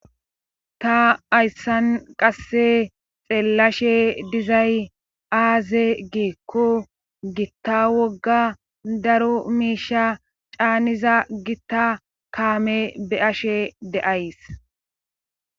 ta hayssan qasse xeellashe dizay aaze geekko gitta wogga daro miisha caaniza gitta kaame be ashe deays